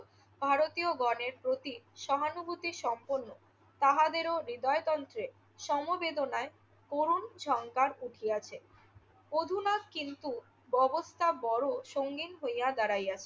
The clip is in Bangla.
ভারতীয়গণের প্রতি সহানুভূতিসম্পন্ন। তাহাদেরও হৃদয়তন্ত্রে সমবেদনায় করুণ সংগার উঠিয়াছে। অধুনা কিন্তু ববস্থা বড় সংগীন হইয়া দাঁড়াইয়াছে।